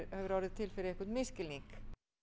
hefur orðið til fyrir einhvern misskilning